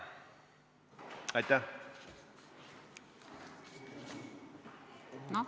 Aitäh!